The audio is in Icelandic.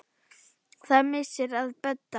Það er missir að Bödda.